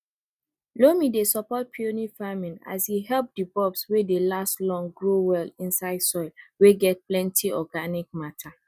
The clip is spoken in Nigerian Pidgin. loam dey support peony farming as e help di bulbs wey dey last grow well inside soil wey get plenty organic matter